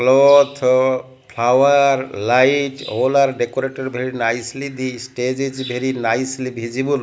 cloth flower light all are decorated very nicely the stage is very nicely visible.